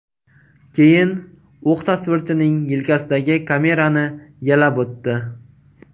Keyin o‘q tasvirchining yelkasidagi kamerani yalab o‘tdi.